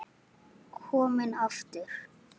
Kominn aftur?